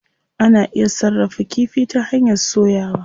Ana iya sarrafa kifi ta hanyar soyawa.